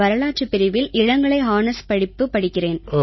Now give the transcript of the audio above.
வரலாற்றுப் பிரிவில் இளங்கலை ஹானர்ஸ் படிப்பு படிக்கிறேன்